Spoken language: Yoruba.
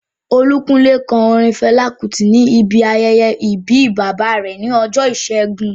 Olúkúnlé kọ orin Fẹlá Kútì ní ibi ayẹyẹ ìbí bàbá rẹ̀ ní ọjọ́ ìṣẹ́gun